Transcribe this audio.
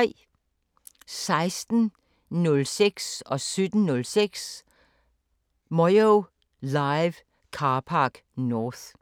16:06: Moyo Live: Carpark North 17:06: Moyo Live: Carpark North